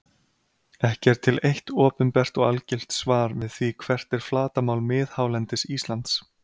Ekki er til eitt opinbert og algilt svar við því hvert er flatarmál miðhálendis Íslands.